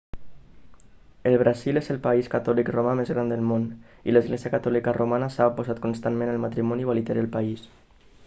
el brasil és el país catòlic romà més gran del món i l'església catòlica romana s'ha oposat constantment al matrimoni igualitari al país